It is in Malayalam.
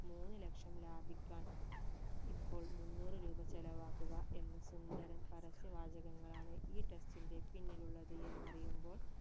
മൂന്ന് ലക്ഷം ലാഭിക്കാൻ ഇപ്പോൾ മുന്നൂറ് രൂപ ചെലവാക്കുക എന്ന സുന്ദരൻ പരസ്യ വാചകങ്ങളാണ് ഈ test ന്റെ പിന്നിലുള്ളത് എന്നറിയുമ്പോൾ